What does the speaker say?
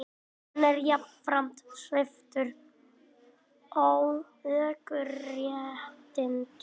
Hann er jafnframt sviptur ökuréttindum ævilangt